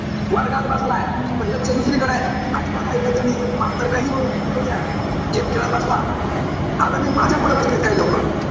वर्गात बसलाय. पण लक्ष दुसरीकडे आहे. अजिबात ऐकायचं नाही. मास्तर काहीही बोलू द्या. Game खेळत बसला. आता नाई माझ्यापुढे बसलेत काही लोक.